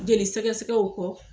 Jeli sɛgɛ gɛgɛw kɔ.